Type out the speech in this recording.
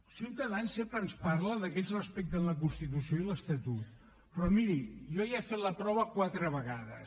ciutadans sempre ens parla que ells respecten la constitució i l’estatut però miri jo ja n’he fet la prova quatre vegades